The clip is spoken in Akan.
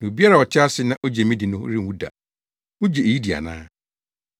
Na obiara a ɔte ase na ogye me di no renwu da. Wugye eyi di ana?”